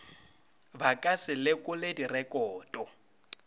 ba ka se lekole direkoto